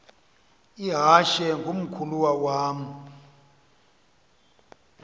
ihashe ngumkhulawa uam